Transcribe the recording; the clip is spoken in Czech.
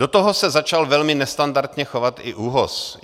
Do toho se začal velmi nestandardně chovat i ÚOHS.